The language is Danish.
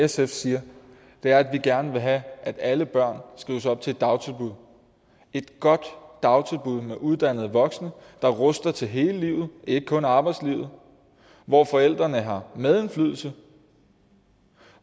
sf siger er at vi gerne vil have at alle børn skrives op til et dagtilbud et godt dagtilbud med uddannede voksne der ruster barnet til hele livet ikke kun arbejdslivet hvor forældrene har medindflydelse